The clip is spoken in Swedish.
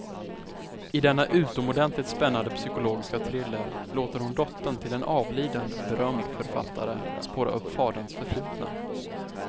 I denna utomordentligt spännande psykologiska thriller låter hon dottern till en avliden, berömd författare spåra upp faderns förflutna.